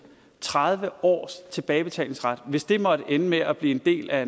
tredive års tilbagebetalingsret hvis det måtte ende med at blive en del af